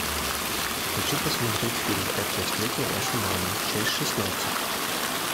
хочу посмотреть фильм как я встретил вашу маму часть шестнадцать